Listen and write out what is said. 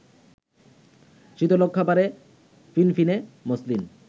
শীতলক্ষ্যাপাড়ের ফিনফিনে মসলিন